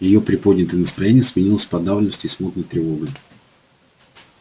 её приподнятое настроение сменилось подавленностью и смутной тревогой